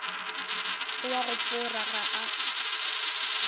o a go fora ga